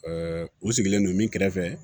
u sigilen don min kɛrɛfɛ